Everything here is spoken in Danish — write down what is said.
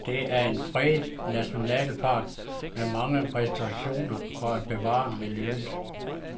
Det er en fredet nationalpark med mange restriktioner for at bevare miljøet.